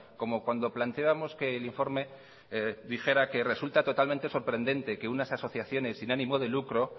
como cuando planteábamos que el informe dijera que resulta totalmente sorprendente que unas asociaciones sin ánimo de lucro